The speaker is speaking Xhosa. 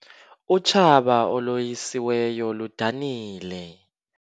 Utshaba oloyisiweyo ludanile.